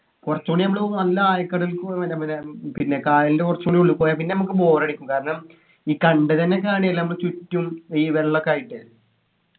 കുറച്ചുകൂടി നമ്മള് നല്ല ആഴക്കടലിൽകൂടി മറ്റേ മറ്റേ പിന്നെ കായലിൻ്റെ കുറച്ചു കൂടി ഉള്ളി പോയ പിന്നെ നമ്മക്ക് bore അടിക്കും കാരണം ഈ കണ്ടതെന്നെ കാണ്ല്ലേ നമ്മ ചുറ്റും ഈ വെള്ളൊക്കെ ആയിട്ട്